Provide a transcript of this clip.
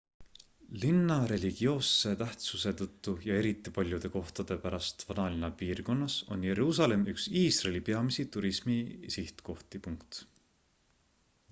linna religioosse tähtsuse tõttu ja eriti paljude kohtade pärast vanalinna piirkonnas on jeruusalemm üks iisraeli peamisi turismisihtkohti